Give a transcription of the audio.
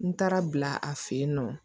N taara bila a fɛ yen nɔ